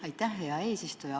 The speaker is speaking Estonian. Aitäh, hea eesistuja!